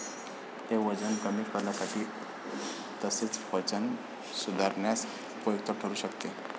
ते वजन कमी करण्यासाठी तसेच पचन सुधारण्यास उपयुक्त ठरू शकते.